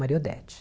Maria Odete.